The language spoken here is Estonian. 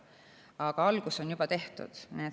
Aga algus on juba tehtud.